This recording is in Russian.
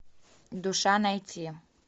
душа найти